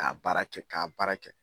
K'a baara kɛ k'a baara kɛ